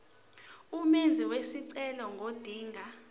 umenzi wesicelo ngodinga